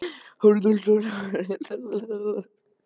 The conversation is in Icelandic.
Guðmundur var allra manna hæstur en lítillega boginn í baki.